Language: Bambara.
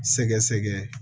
Sɛgɛsɛgɛ